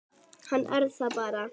Hann er það bara.